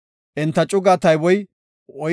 Enta cugaa tayboy 41,500.